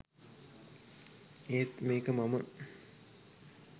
ඒත් මේක මම